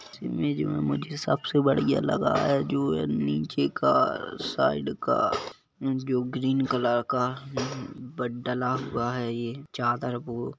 इस इमेज में मुझे सबसे बढ़िया लगा है जो हैं नीचे का साइड का जो ग्रीन कलर का बड-- डला हुआ हैं चादर वो--